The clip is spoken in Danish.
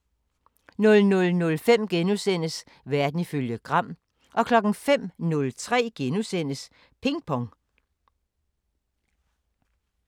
00:05: Verden ifølge Gram * 05:03: Ping Pong *